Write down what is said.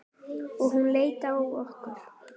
Og hún leit á okkur.